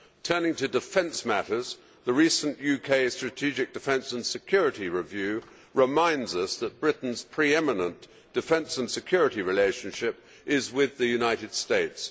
Turning to defence matters, the recent UK strategic defence and security review reminds us that Britain's pre eminent defence and security relationship is with the United States.